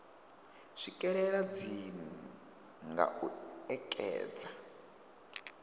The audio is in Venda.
swikelela dzinnu nga u ekedza